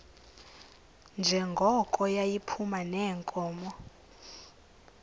njengoko yayiphuma neenkomo